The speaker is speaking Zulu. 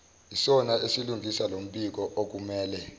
isona esilungisa lombikookumele